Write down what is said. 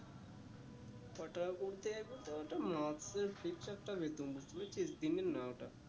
কটাকা বলতে ওইটা